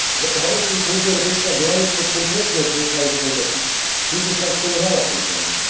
Obawiam się, że Komisja Europejska, działając pod tą presją krajów członkowskich, tylko sankcjonowała tę pomoc.